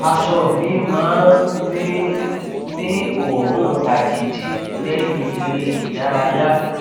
aṣọ mi máa ń ní ń ní òórùn àjèjì lẹyìn eré ìdárayá